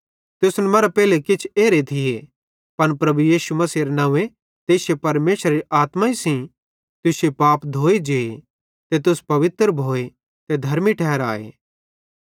तुसन मरां पेइले किछ एरे थिये पन प्रभु यीशु मसीहेरे नंव्वे ते इश्शे परमेशरेरी आत्माई सेइं तुश्शे पाप धोए जे ते तुस पवित्र भोए ते धर्मी ठहराए